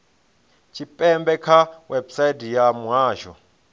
tshipembe kha website ya muhasho